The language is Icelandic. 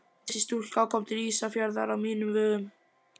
Þessi stúlka kom til Ísafjarðar á mínum vegum.